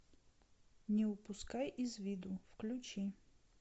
не упускай из виду включи